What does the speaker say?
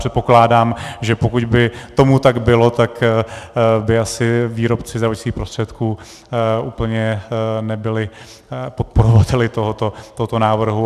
Předpokládám, že pokud by tomu tak bylo, tak by asi výrobci zdravotnických prostředků úplně nebyli podporovateli tohoto návrhu.